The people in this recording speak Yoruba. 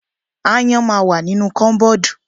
Aáyán ma wà nínu kọ́bọ́ọ̀dù.